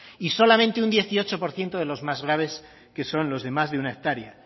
y solamente un dieciocho por ciento de los más graves que son los de más de una hectárea